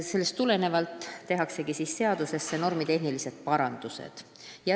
Sellest tulenevalt tehaksegi seaduses normitehnilised parandused.